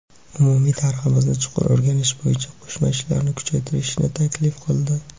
umumiy tariximizni chuqur o‘rganish bo‘yicha qo‘shma ishlarni kuchaytirishni taklif qildi.